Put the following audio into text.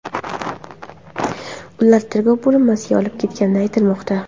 Ular tergov bo‘linmasiga olib ketilgani aytilmoqda.